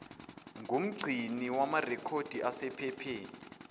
ngumgcini wamarekhodi asephepheni